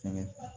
Fɛngɛ